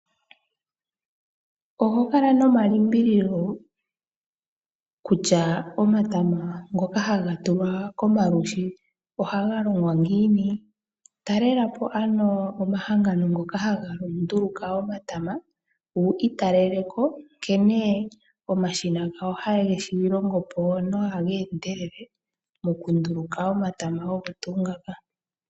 Oho kala nomalimbililo kutya omatama ngoka haga tulwa komalushi ohaga longwa ngiini?? Talelapo ano mahangano ngoka haga nduluka omatama wu italeleko nkene omashina gawo haga nduluka nohaga endelele momuninga omatama ogo tuu ngaka.